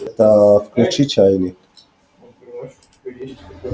это включи чайник